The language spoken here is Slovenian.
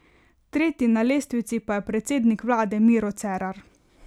Tretji na lestvici pa je predsednik vlade Miro Cerar.